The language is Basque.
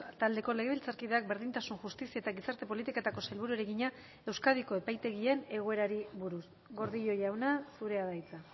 taldeko legebiltzarkideak berdintasun justizia eta gizarte politiketako sailburuari egina euskadiko epaitegien egoerari buruz gordillo jauna zurea da hitza